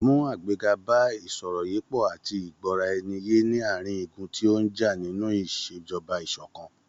Mú àgbéga bá ìsọ̀rọ̀yépọ̀ àti ìgbọ́ra ẹni ye ní àárín igun tí ó ń já nínú iṣejọba ìṣọ̀kan.